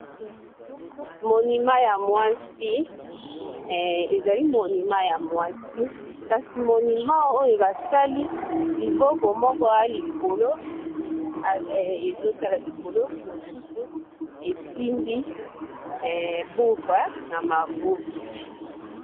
Monument ya mwasi, ezali monument ya mwasi kasi monument oyo basali liboko moko ea likolo ezo tala likolo mosusu esimbi buka na maboko.